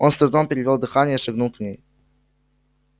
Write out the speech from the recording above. он с трудом перевёл дыхание и шагнул к ней